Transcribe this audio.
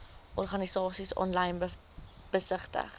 organisasies aanlyn besigtig